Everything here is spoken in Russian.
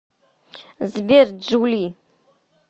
сбер джули